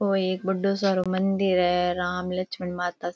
औ एक बढ्दो सारो मंदिर है राम लक्समन माता --